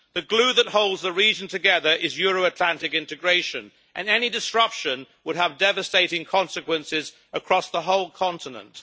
The glue that holds the region together is Euro Atlantic integration, and any disruption would have devastating consequences across the whole continent.